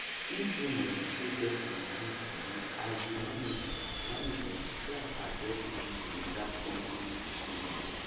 if rumor dey sey person dey do juju as di management management try address di issue without pointing fingers